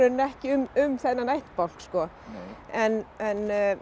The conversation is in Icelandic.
ekki um um þennan ættbálk sko en